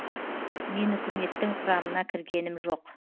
мен үкіметтің құрамына кіргенім жоқ